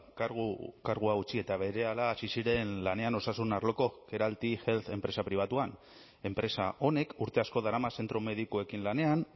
kargua utzi eta berehala hasi ziren lanean osasun arloko keralty health enpresa pribatuan enpresa honek urte asko darama zentro medikuekin lanean